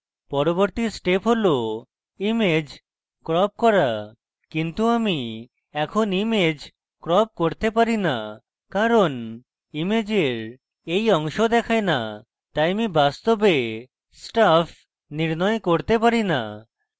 পরবর্তী step হল image crop করা কিন্তু আমি এখন image crop করতে পারি the কারণ ইমেজের এই অংশ দেখায় the তাই আমি বাস্তবে stuff নির্ণয় করতে পারি the